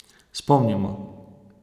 Spomnimo.